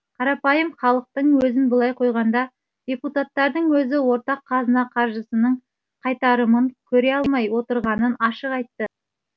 қарапайым халықтың өзін былай қойғанда депутаттардың өзі ортақ қазына қаржысының қайтарымын көре алмай отырғанын ашық айтты